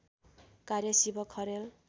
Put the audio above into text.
कार्य शिव खरेल